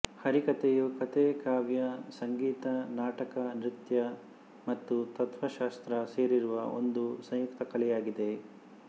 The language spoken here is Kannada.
ಹರಿಕಥೆಯು ಕಥೆ ಕಾವ್ಯ ಸಂಗೀತ ನಾಟಕ ನೃತ್ಯ ಮತ್ತು ತತ್ತ್ವಶಾಸ್ತ್ರ ಸೇರಿರುವ ಒಂದು ಸಂಯುಕ್ತ ಕಲೆಯಾಗಿದೆ